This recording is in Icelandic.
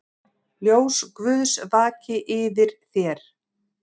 Ljós Guðs vaki yfir þér.